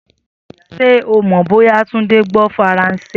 Sé o mò bó̩yá Túndé gbó̩ Faransé?